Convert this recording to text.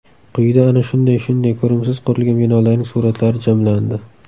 Quyida ana shunday shunday ko‘rimsiz qurilgan binolarning suratlari jamlandi.